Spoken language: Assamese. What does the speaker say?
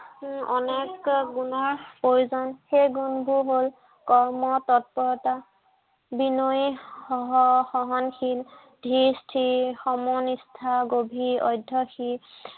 উম অনেক গুণৰ প্ৰয়োজন। সেই গুণবোৰ হল কৰ্ম তৎপৰতা, বিনয়ী, সহনশীল, ধীৰ স্থিৰ, সমনিষ্ঠা, গভীৰ অধ্য়নশীল